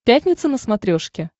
пятница на смотрешке